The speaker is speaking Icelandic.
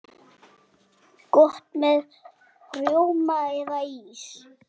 Gott með rjóma eða ís.